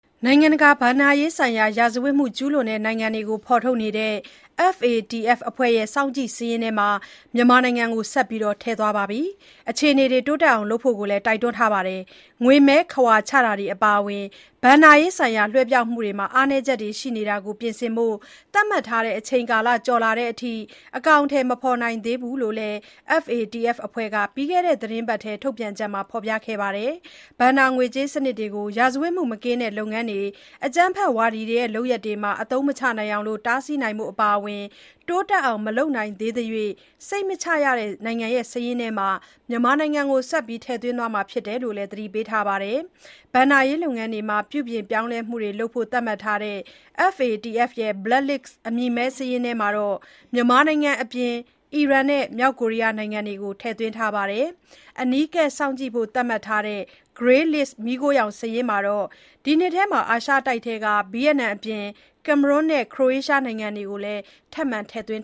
နိုင်ငံတကာ ဘဏ္ဍာရေးဆိုင်ရာဇဝတ်မှု ကျူးလွန်တဲ့နိုင်ငံတွေကို ဖော်ထုတ်နေတဲ့ FATF အဖွဲ့ရဲ့ စောင့်ကြည့်စာရင်းမှာ မြန်မာနိုင်ငံကို ဆက်လက် ထည့်သွားထားပြီး၊ အခြေအနေတွေ တိုးတက်အောင်လုပ်ဖို့လည်း တိုက်တွန်းလိုက်ပါတယ်။ ငွေမည်းခဝါချတာတွေ အပါအဝင် ဘဏ္ဍာရေးဆိုင်ရာ လွှဲပြောင်းမှုတွေမှာ အားနည်းချက်တွေက ရှိနေတာကို ပြင်ဆင်ဖို့ သတ်မှတ်ထားတဲ့အချိန်ကာလ ကျော်လာတဲ့အထိ အကောင်အထည် မဖော်နိုင်သေးဘူးလို့လည်း FATF အဖွဲ့က ပြီးခဲ့တဲ့သီတင်းပတ်ထဲ ထုတ်ပြန်ချက်မှာ ဖော်ပြခဲ့တာပါ။ ဘဏ္ဍာငွေကြေး စနစ်တွေကို ရာဇဝတ်မှုမကင်းတဲ့ လုပ်ငန်းတွေ အကြမ်းဖက်ဝါဒီတွေရဲ့ လုပ်ရပ်တွေမှာ အသုံးမချနိုင်အောင် တားဆီးနိုင်ဖို့ အပါအဝင် တိုးတက်အောင် မလုပ်နိုင်သေးသမျှ စိတ်မချရတဲ့ နိုင်ငံစာရင်းမှာ ဆက်လက် ထည့်သွင်းထားမှာ ဖြစ်တယ်လို့လည်း သတိပေးထားပါတယ်။ ဘဏ္ဍာရေးလုပ်ငန်းတွေမှာ ပြုပြင်ပြောင်းလဲမှုတွေလုပ်ဖို့ သတ်မှတ်ထားတဲ့ FATF ရဲ့ Black List အမည်မည်း စာရင်းမှာတော့ မြန်မာနိုင်ငံအပြင်၊ အီရန်၊ မြောက်ကိုရီးယားနိုင်ငံတွေကိုလည်း ထည့်သွင်းထားပါတယ်။ အနီးကပ်စောင့်ကြည့်ဖို့ သတ်မှတ်ထားတဲ့ Grey List မီးခိုးရောင် စာရင်းမှာတော့ ဒီနှစ်မှာ အာရှတိုက်က ဗီယက်နမ်အပြင်၊ ကင်မရွန်းနဲ့ ခရိုအေးရှား နိုင်ငံတွေကို ထပ်မံထည့်သွင်း